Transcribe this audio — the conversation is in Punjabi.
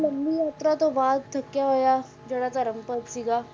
ਲੰਮੀ ਯਾਤਰਾ ਤੋਂ ਬਾਅਦ ਥੱਕਿਆ ਹੋਇਆ ਜਿਹੜਾ ਧਰਮ ਸੀਗਾ